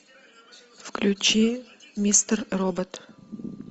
включи мистер робот